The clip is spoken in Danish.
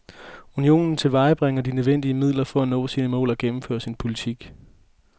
Unionen tilvejebringer de nødvendige midler for at nå sine mål og gennemføre sin politik.